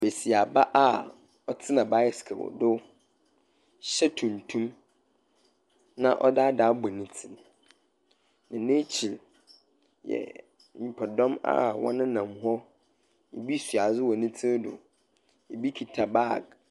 Besiaba a ɔtena bicycle do hyɛ tuntum, na ɔdze ade abɔ ne tsir, na n'ekyir yɛ nyimpadɔm a wɔnenam hɔ. Ebi soa adze wɔ ne tsir do. Ebi kita bag.